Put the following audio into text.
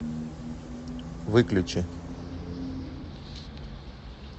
выключи